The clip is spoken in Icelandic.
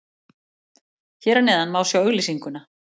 Hér að neðan má sjá auglýsinguna.